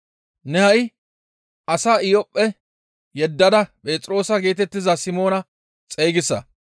Ne ha7i as Iyophphe yeddada Phexroosa geetettiza Simoona xeygisa.